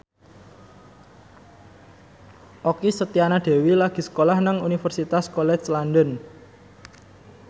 Okky Setiana Dewi lagi sekolah nang Universitas College London